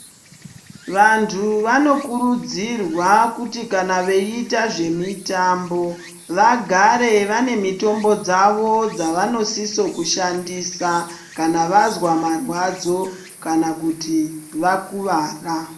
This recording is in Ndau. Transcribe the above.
Vanthu vanokurudzirwa kuti kana veita zvemitambo vagare vane mitombo dzavo dzavanosisa kushandisa kana vazwa marwadzo kana kuti vakuwara.